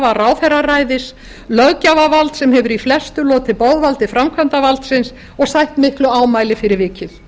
klafa ráðherraræðis löggjafarvalds sem hefur í flestu lotið boðvaldi framkvæmdarvaldsins og sætt miklu ámæli fyrir vikið